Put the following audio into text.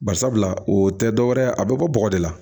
Barisabula o tɛ dɔwɛrɛ ye a bɛ bɔ bɔgɔ de la